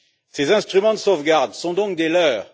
Ces instruments de sauvegarde sont donc des leurres.